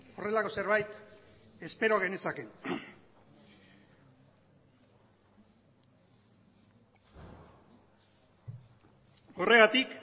horrelako zerbait espero genezake horregatik